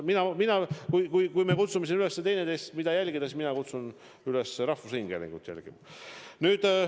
Kui me kutsume siin teineteist üles, mida jälgida, siis mina kutsun teid üles rahvusringhäälingut jälgima.